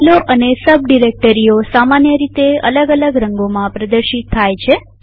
ફાઈલો અને સબ ડિરેક્ટરીઓ સામાન્ય રીતે અલગ અલગ રંગોમાં પ્રદર્શિત થાય છે